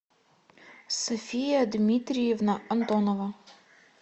софия дмитриевна антонова